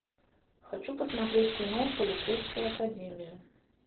хочу посмотреть кино полицейская академия